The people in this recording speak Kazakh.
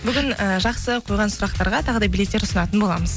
бүгін і жақсы қойған сұрақтарға тағы да билеттер ұсынатын боламыз